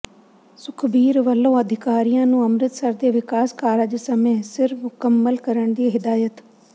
ਸੁਖਬੀਰ ਵਲੋਂ ਅਧਿਕਾਰੀਆਂ ਨੂੰ ਅੰਮ੍ਰਿਤਸਰ ਦੇ ਵਿਕਾਸ ਕਾਰਜ ਸਮੇ ਸਿਰ ਮੁਕੰਮਲ ਕਰਨ ਦੀ ਹਦਾਇਤ